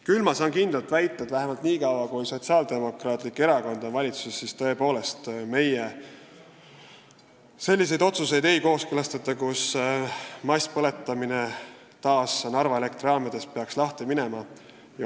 Täna ma saan kindlalt väita, et vähemalt niikaua, kui Sotsiaaldemokraatlik Erakond on valitsuses, me selliseid otsuseid ei kooskõlasta, mille peale peaks Narva Elektrijaamades masspõletamine lahti minema.